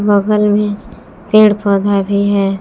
बगल में पेड़ पौधा भी है।